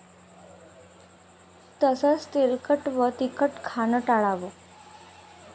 तसंच तेलकट व तिखट खाणं टाळावं.